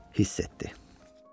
Hiss etdi.